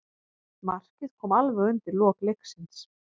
Markið kom alveg undir lok leiks.